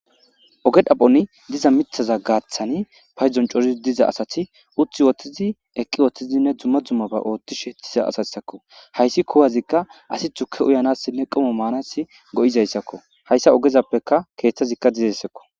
oge xaphoni diza mithaza gaaththani paydon cori diza asati uthi woththizi eqqi woththizinne dzumma dzummaba ooththishettiza asayssakko hayssi kuwazikka asi tzuke uyanassinne qomo maanasi go7izayssakko hayssa ogezappeka keeththazikka dizessekko